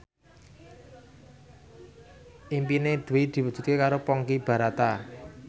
impine Dwi diwujudke karo Ponky Brata